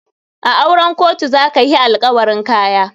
A auren kotu za ka hi alkawarin Kaya.